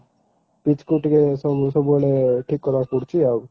pitch କୁ ଟିକେ ସବୁ ସବୁବେଳେ ଠିକ୍ କଲାକୁ ପଡୁଛି ଆଉ